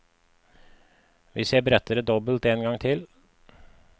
Hvis jeg bretter det dobbelt en gang til.